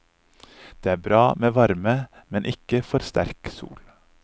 Det er bra med varme, men ikke for sterk sol.